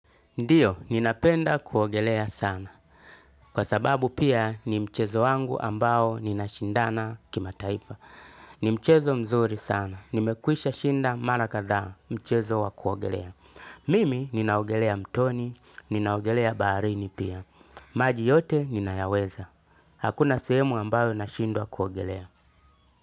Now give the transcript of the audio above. Ndiyo, ninapenda kuogelea sana. Kwa sababu pia ni mchezo wangu ambao ninashindana kimataifa. Ni mchezo mzuri sana. Nimekwisha shinda mara kadhaa mchezo wa kuogelea. Mimi ninaogelea mtoni, ninaogelea baarini pia. Maji yote ninayaweza. Hakuna sehemu ambayo nashindwa kuogelea.